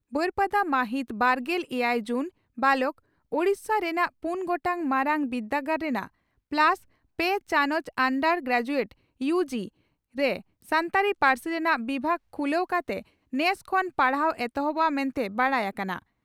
ᱵᱟᱹᱨᱯᱟᱫᱟ ᱢᱟᱹᱦᱤᱛ ᱵᱟᱨᱜᱮᱞ ᱮᱭᱟᱭ ᱡᱩᱱ (ᱵᱟᱞᱚᱠ) ᱺ ᱳᱰᱤᱥᱟ ᱨᱮᱱᱟᱜ ᱯᱩᱱ ᱜᱚᱴᱟᱝ ᱢᱟᱨᱟᱝ ᱵᱤᱨᱫᱟᱹᱜᱟᱲ ᱨᱮᱱᱟᱜ ᱯᱞᱟᱥ ᱯᱮ ᱪᱟᱱᱚᱪ ᱟᱱᱰᱟᱨ ᱜᱨᱮᱡᱩᱭᱮᱴ ᱤᱭᱩ ᱜᱤ ) ᱨᱮ ᱥᱟᱱᱛᱟᱲᱤ ᱯᱟᱹᱨᱥᱤ ᱨᱮᱱᱟᱜ ᱵᱤᱵᱷᱟᱜᱽ ᱠᱷᱩᱞᱟᱹ ᱠᱟᱛᱮ ᱱᱮᱥ ᱠᱷᱚᱱ ᱯᱟᱲᱦᱟᱣ ᱮᱦᱚᱵᱚᱜᱼᱟ ᱢᱮᱱᱛᱮ ᱵᱟᱰᱟᱭ ᱟᱠᱟᱱᱟ ᱾